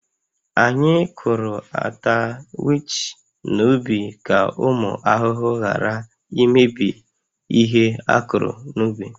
Anyị kụrụ ata wich n’ubi ka ụmụ ahụhụ ghara imebi ihe a kụrụ n’ubi